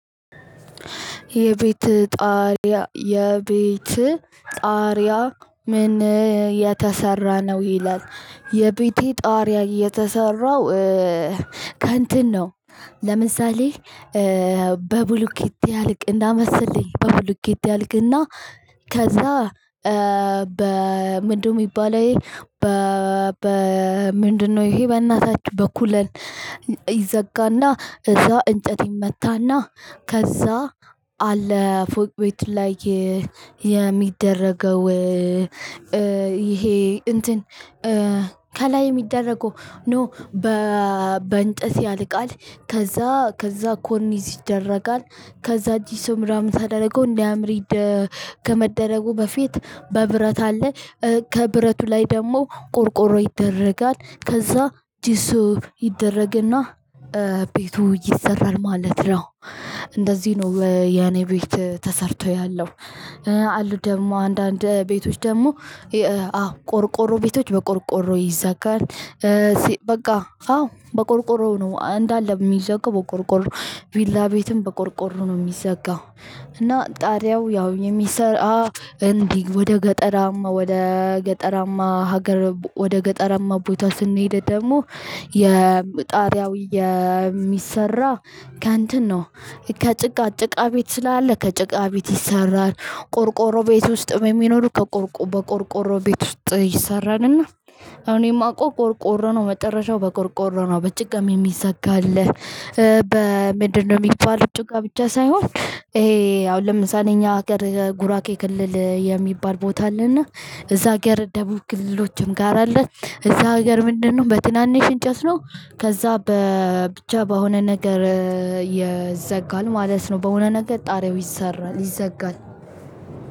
"የቤትህ ጣሪያ ምን እየተሰራ ነው?" ነው ይላል። የቤቴ ጣሪያ የተሰራው ከእንትን ነው ለምሳሌ በብሎኬት እንደመሰለኝ በብሉኬት ያልቅና ከዛ በምንድነው የሚባለው? በእናታችሁ በኮሌን ይዘጋና እዛ እንጨት ይመታና ከዛ አለ ፎቅ ቤት ላይ የሚደረገው ይሄ እንትን ከላይ የሚደረገው አይደለም በ በእንጨት ያልቃል ከዛ ኮርኒስ ይደረጋል ከዛ ለሾ ተደርጎ እንዲያምር ከመደረጉ በፊት ብረት አለ ከብረቱ ላይ ደግሞ ቆርቆሮ ይደረጋል ከዛ ጄሶ ይደረግና ቤቱ ይሰራል ማለት ነው። እንደዚህ ነው የኔ ቤት ተሰርቶ ያለው አሉ ደግሞ አንዳንድ ቤቶች ደግሞ አዎ ቆርቆሮ ቤቶች በቆርቆሮ ይዘጋል። በቃ አዎ በቆርቆሮ ነው እንዳለ የሚዘጋው። ቪላ ቤትም በቆርቆር ነው የሚዘጋው። እና ጣሪያው ወደ ገጠራማ ሀገር ስንሄድ ደግሞ ጣሪያው የሚሰራው ከእንትን ነው። ጭቃ ቤት ስላለ ከጭቃ ቤት ይሰራል። ቆርቆሮ ቤት ውስጥ የሚኖሩ ከቆርቆ በቆርቆሮ ቤት ውስጥ ይሰራልና እኔማውቀው ቆርቆሮነው መጨረሻው በቆርቆሮ ነው በጭቃም የሚዘጋ አለ። በምድ ነው የሚባለው ጭቃ ብቻ ሳይሆን ይሄ አሁን ለምሳሌ እኛ ሀገር ጉራጌ ክልል የሚባል ቦታ አለና እዛ ሀገር ደቡብ ክልሎችም ጋር አለ እዛ ሀገር ምንድነው በትንንሽ እንጨት ነው ከዛ ብቻ በሆነ ነገር ይዘጋል ማለት ነው። በሆነ ነገር ጣሪያው ይሰራል ይዘጋል።